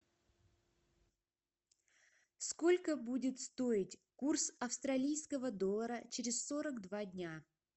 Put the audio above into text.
сколько будет стоить курс австралийского доллара через сорок два дня